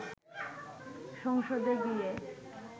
সংসদে গিয়ে